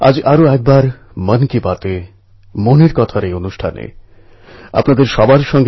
আজকাল অনেক জায়গা থেকে ভালো বর্ষার খবর আসছে